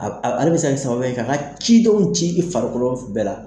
Ale be se ka kɛ sababuya ye, ka ka cidenw ci i farikoloko bɛɛ la.